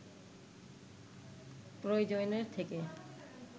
প্রয়োজনের থেকে